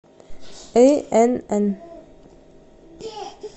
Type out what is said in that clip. инн